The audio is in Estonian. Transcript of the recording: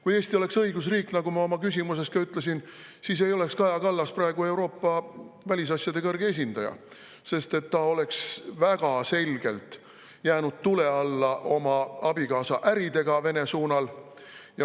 Kui Eesti oleks õigusriik, siis ei oleks Kaja Kallas praegu, nagu ma ka oma küsimuses ütlesin, Euroopa Liidu välisasjade kõrge esindaja, sest ta oleks väga selgelt jäänud tule alla oma abikaasa äridega Vene suunal.